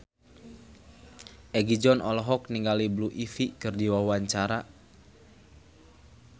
Egi John olohok ningali Blue Ivy keur diwawancara